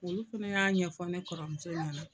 Olu fana y'a ɲɛfɔ ne kɔrɔmuso ɲana.